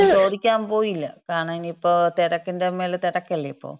പിന്നെ ഞാൻ ചോദിക്കാൻ പോയില്ല. കാരണം ഇനിയിപ്പം തിരക്കിന്‍റെ മേളില് തിരക്കല്ലേ ഇപ്പോ.